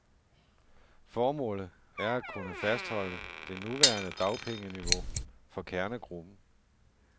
Formålet er at kunne fastholde det nuværende dagpengeniveau for kernegruppen.